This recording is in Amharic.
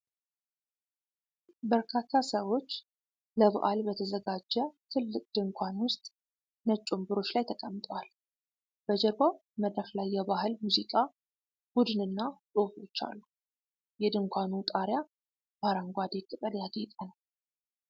በርካታ ሰዎች ለበዓል በተዘጋጀ ትልቅ ድንኳን ውስጥ ነጭ ወንበሮች ላይ ተቀምጠዋል። በጀርባው መድረክ ላይ የባህል ሙዚቃ ቡድንና ጽሁፎች አሉ። የድንኳኑ ጣሪያ በአረንጓዴ ቅጠል ያጌጠ ነው።